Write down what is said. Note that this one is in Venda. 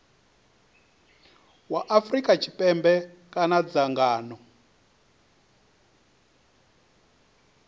wa afrika tshipembe kana dzangano